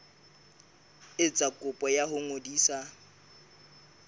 etsa kopo ya ho ngodisa